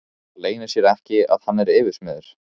Það leynir sér ekki að hann er yfirsmiður.